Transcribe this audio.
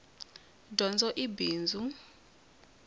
dyondzo i bindzu